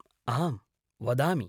आम्, वदामि।